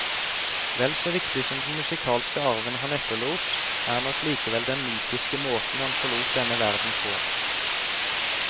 Vel så viktig som den musikalske arven han etterlot, er nok likevel den mytiske måten han forlot denne verden på.